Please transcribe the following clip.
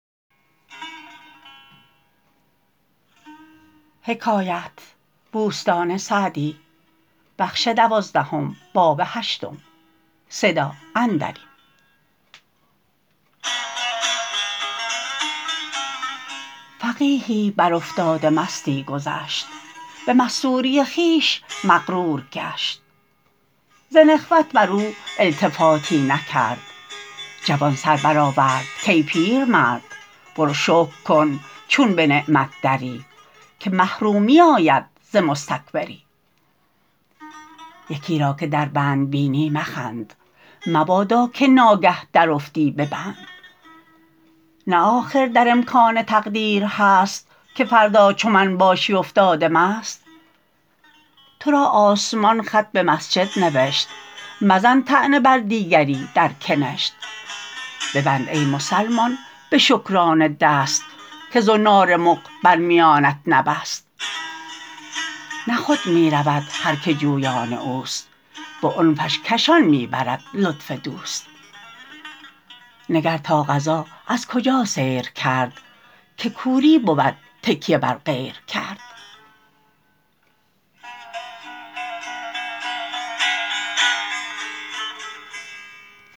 فقیهی بر افتاده مستی گذشت به مستوری خویش مغرور گشت ز نخوت بر او التفاتی نکرد جوان سر برآورد کای پیرمرد برو شکر کن چون به نعمت دری که محرومی آید ز مستکبری یکی را که در بند بینی مخند مبادا که ناگه درافتی به بند نه آخر در امکان تقدیر هست که فردا چو من باشی افتاده مست تو را آسمان خط به مسجد نوشت مزن طعنه بر دیگری در کنشت ببند ای مسلمان به شکرانه دست که زنار مغ بر میانت نبست نه خود می رود هر که جویان اوست به عنفش کشان می برد لطف دوست نگر تا قضا از کجا سیر کرد که کوری بود تکیه بر غیر کرد